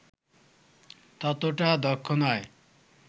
ততোটা দক্ষ নয়